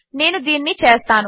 నేను దీనిని చేస్తాను